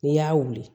N'i y'a wuli